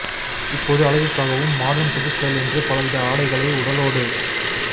இப்போது அழகுக்காகவும் மாடர்ன் புது ஸ்டைல் என்று பல வித ஆடைகளை உடலோடு